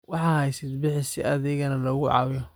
Waxa hadhsid bixi si adhiga na lakucawiyo.